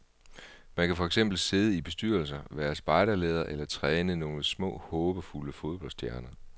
Man kan for eksempel sidde i bestyrelser, være spejderleder eller træne nogle små håbefulde fodboldstjerner.